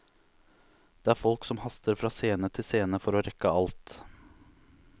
Det er folk som haster fra scene til scene for å rekke alt.